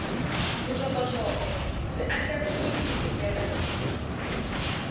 vuxokoxoko byi andlariwile hi ndlela